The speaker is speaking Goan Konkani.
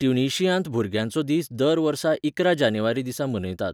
ट्युनिशियांत भुरग्यांचो दीस दर वर्सा इकरा जानेवारी दिसा मनयतात.